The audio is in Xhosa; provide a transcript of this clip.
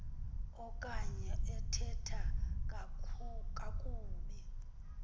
okanye ethetha kakubi